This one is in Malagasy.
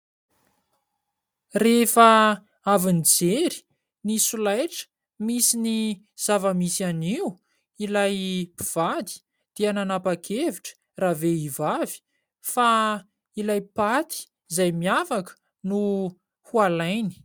Rehefa avy nijery ny solaitra misy ny zava-misy anio ilay mpivady, dia nanapakevitra ravehivavy fa ilay paty izay miavaka no ho alainy.